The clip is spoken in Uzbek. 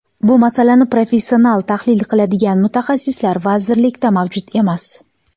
Bu masalani professional tahlil qiladigan mutaxassislar vazirlikda mavjud emas.